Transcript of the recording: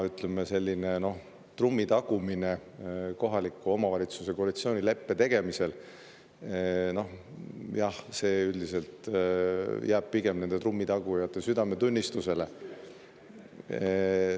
Selline trummi tagumine kohaliku omavalitsuse koalitsioonileppe tegemisel jääb üldiselt pigem nende trummitagujate südametunnistusele.